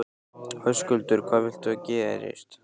Höskuldur: Hvað viltu að gerist?